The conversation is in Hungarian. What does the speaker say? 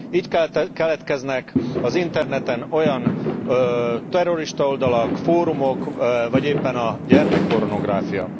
Így keletkeznek az interneten olyan terroristaoldalak, fórumok, vagy éppen a gyermekpornográfia.